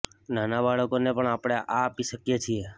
નાના બાળકોને પણ આપણે આ આપી શકીએ છીએ